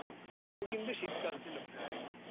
ওটাও কিন্তু শীতকাল ছিল প্রায়।